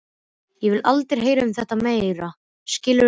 Ég vil aldrei heyra um þetta meira, skilurðu það?